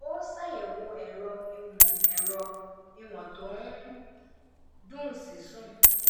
ó sàyẹwo ẹ̀rọ ìwọ̀n ẹ̀rọ ìwọ̀n tó ń dùn sí sùn